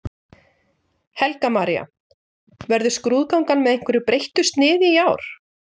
Helga María: Verður skrúðgangan með einhverju breyttu sniði í ár?